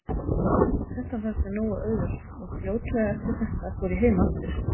Þetta fannst mér nógu auðvelt og fljótlega eftir þetta fór ég heim aftur.